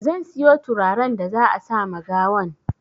Zan siyo turaren da za a sama gawan